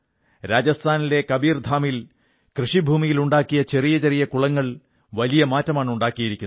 രാജസ്ഥാനിലെ കബീർധാമിൽ കൃഷിഭൂമിയിൽ ഉണ്ടാക്കിയ ചെറിയ കുളങ്ങൾ വലിയ മാറ്റമാണുണ്ടാക്കിയിരിക്കുന്നത്